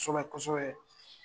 Kosɛbɛ kosɛbe.